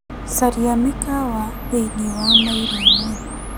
Caria mĩkawa thĩiniĩ wa mairo ĩmwe .